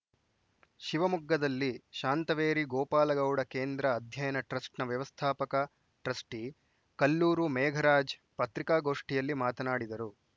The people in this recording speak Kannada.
ಶಿವಮೊಗ್ಗದಲ್ಲಿ ಶಾಂತವೇರಿ ಗೋಪಾಲಗೌಡ ಕೇಂದ್ರ ಅಧ್ಯಯನ ಟ್ರಸ್ಟ್‌ನ ವ್ಯವಸ್ಥಾಪಕ ಟ್ರಸ್ಟಿಕಲ್ಲೂರು ಮೇಘರಾಜ್‌ ಪತ್ರಿಕಾಗೋಷ್ಠಿಯಲ್ಲಿ ಮಾತನಾಡಿದರು